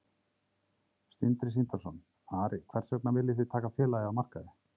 Sindri Sindrason: Ari, hvers vegna viljið þið taka félagið af markaði?